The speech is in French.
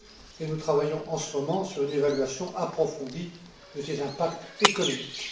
et nous travaillons en ce moment sur une évaluation approfondie de ses impacts économiques.